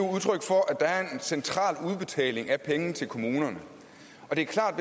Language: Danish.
central udbetaling af penge til kommunerne og det er klart